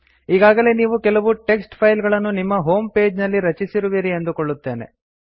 ಈಗಾಗಲೇ ನೀವು ಕೆಲವು ಟೆಕ್ಸ್ಟ್ ಫೈಲ್ ಗಳನ್ನು ನಿಮ್ಮ ಹೋಮ್ ಪೇಜ್ ನಲ್ಲಿ ರಚಿಸಿರುವಿರಿ ಎಂದುಕೊಳ್ಳುತ್ತೇನೆ